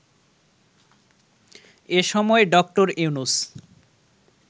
এ সময় ড. ইউনূস